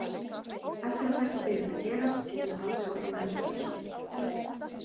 Eftir að þetta byrjar að gerast, getur það haldið áfram endalaust.